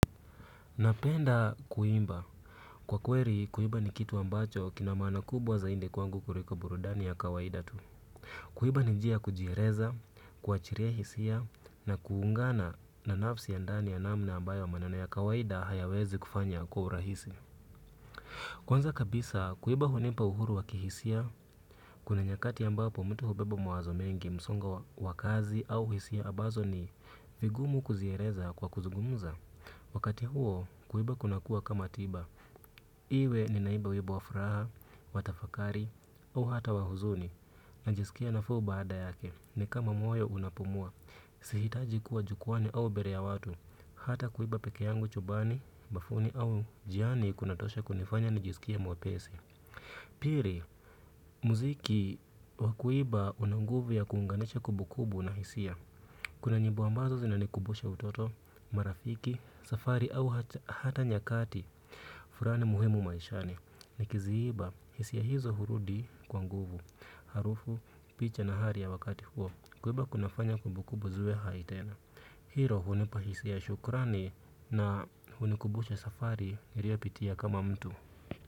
Napenda kuimba. Kwa kweli, kuimba ni kitu ambacho kina maana kubwa zaidi kwangu kuliko burudani ya kawaida tu. Kuimba ni njia ya kujieleza, kuachilia hisia na kuungana na nafsi ya ndani ya namna ambayo maneno ya kawaida hayawezi kufanya kwa urahisi. Kwanza kabisa, kuimba hunimpa uhuru wa kihisia, kuna nyakati ambapo mtu hubeba mawazo mengi msongo wa kazi au hisia ambazo ni vigumu kuzieleza kwa kuzugumza. Wakati huo kuimba kuna kuwa kama tiba. Iwe ninaimba wimbo wa furaha, wa tafakari au hata wa huzuni. Najisikia nafuu baada yake ni kama moyo unapumua. Sihitaji kuwa jukwaani au mbele ya watu hata kuimba pekee yangu chumbani, bafuni au njiani kunatosha kunifanya najisikie mwepesi. Pili, muziki wa kuimba una nguvu ya kuunganisha kumbukumbu na hisia. Kuna nyimbo ambazo zinanikumbusha utoto marafiki, safari au hata nyakati fulani muhimu maishani. Nikiziimba, hisia hizo hurudi kwa nguvu. Harufu, picha na hali ya wakati huo kuimba kunafanya kumbukumbu ziwe hai tena. Hiko hunipa hisia ya shukrani na hunikumbusha safari nilioyapitia kama mtu.